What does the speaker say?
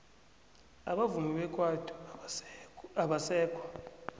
abavumi bekwaito abasekho